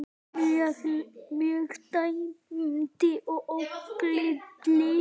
mörk dæmd ógild.